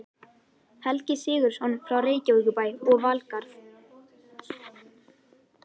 Helgi Sigurðsson frá Reykjavíkurbæ og Valgarð